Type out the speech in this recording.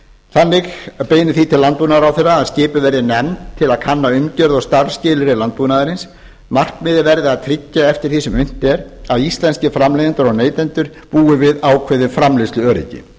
þannig beinir því til landbúnaðarráðherra að skipuð verði nefnd til að kanna umgjörð og starfsskilyrði landbúnaðarins markmiðið verði að tryggja eftir því sem unnt er að íslenskir framleiðendur og neytendur búi við ákveðið framleiðsluöryggi